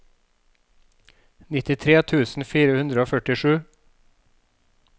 nittitre tusen fire hundre og førtisju